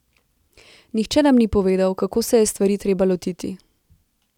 Nihče nam ni povedal, kako se je stvari treba lotiti.